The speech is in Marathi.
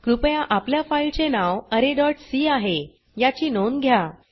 कृपया आपल्या फाइल चे नाव arrayसी आहे याची नोंद घ्या